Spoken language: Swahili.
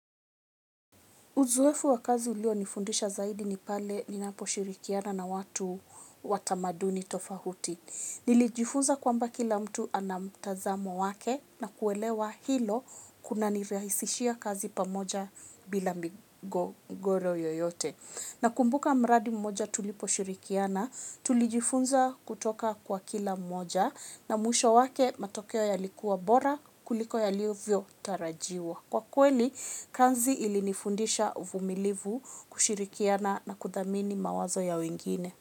Uzoefu wa kazi ulio nifundisha zaidi ni pale ninaposhirikiana na watu wa tamaduni tofahuti. Nilijifunza kwamba kila mtu ana mtazamo wake na kuelewa hilo kuna nirahisishia kazi pamoja bila migogoro yoyote. Nakumbuka mradi mmoja tuliposhirikiana, tulijifunza kutoka kwa kila mmoja na mwisho wake matokeo yalikuwa bora kuliko yaliovyo tarajiwa. Kwa kweli, kanzi ili nifundisha uvumilivu, kushirikiana na kudhamini mawazo ya wengine.